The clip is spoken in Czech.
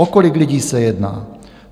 O kolik lidí se jedná?